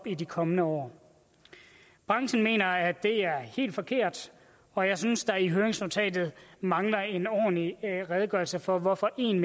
i de kommende år branchen mener at det er helt forkert og jeg synes at der i høringsnotatet mangler en ordentlig redegørelse for hvorfor en